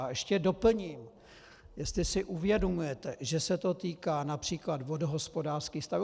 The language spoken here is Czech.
A ještě doplním, jestli si uvědomujete, že se to týká například vodohospodářských staveb.